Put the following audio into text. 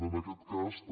en aquest cas també